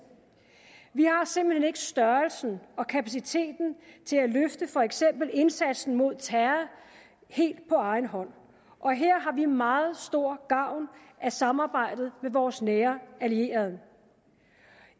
vi har simpelt hen ikke størrelsen og kapaciteten til at løfte for eksempel indsatsen mod terror helt på egen hånd og her har vi meget stor gavn af samarbejdet med vores nære allierede